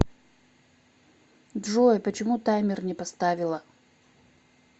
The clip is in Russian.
джой почему таймер не поставила